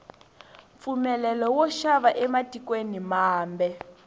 mpfumelelo wo xava ematikweni mambe